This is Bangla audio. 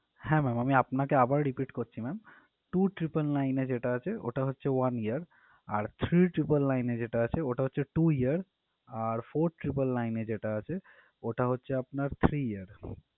হ্যাঁ ma'am আমি আপনাকে আবার repeat করছি ma'am two triple nine এ যেটা আছে ওটা হচ্ছে one year আর three triple nine এ যেটা আছে ওটা হচ্ছে two year আর four triple nine এ যেটা আছে ওটা হচ্ছে আপনার three year ।